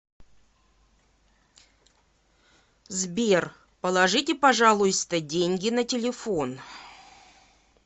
сбер положите пожалуйста деньги на телефон